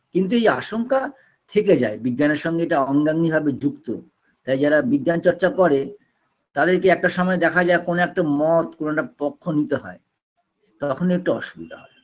কিন্তু এই আশঙ্কা থেকে যায় বিজ্ঞানের সঙ্গে এটা অঙ্গাঙ্গীভাবে যুক্ত তাই যারা বিজ্ঞান চর্চা করে তাদেরকে একটা সময় দেখা যায় কোনো একটা মত কোনো একটা পক্ষ নিতে হয় তখনই একটু অসুবিধা হয়